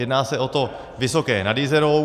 Jedná se o to Vysoké nad Jizerou.